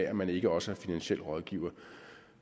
at man ikke også er finansiel rådgiver